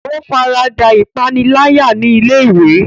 O farada ipanilaya ni ilé-ìwé.